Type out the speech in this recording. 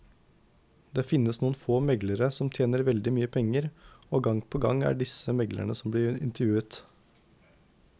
Det finnes noen få meglere som tjener veldig mye penger, og gang på gang er det disse meglerne som blir intervjuet.